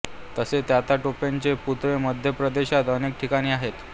तसे तात्या टोपेंचे पुतळे मध्य प्रदेशात अनेक ठिकाणी आहेत